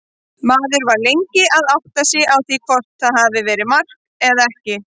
Maður var lengi að átta sig á því hvort þetta hafi verið mark eða ekki.